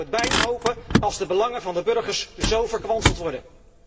Je zou het bijna hopen, als de belangen van de burgers zo verkwanseld worden.